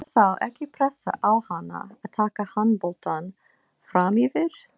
Er þá ekki pressa á hana að taka handboltann framyfir?